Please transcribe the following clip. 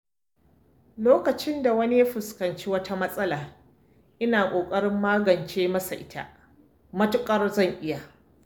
Lokacin da wani ya fuskanci wata matsala, ina ƙoƙarin magance masa ita matuƙar zan iya.